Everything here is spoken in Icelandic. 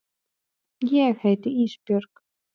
Ég heiti Ísbjörg.